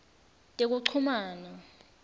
tekuchumana